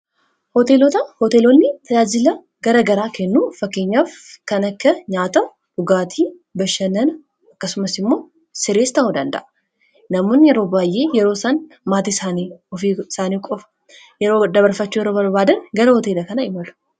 hlahoteelonni tayajila gara garaa kennu fakkeenyaaf kan akka nyaata dhugaatii bashanana akkasumas immoo sireestaodanda'a namuun yeroo baa'ee yeroosan maatii fi isaanii qofa yeroo dabarfachuu yero balwaadan gara hoteela kana imalu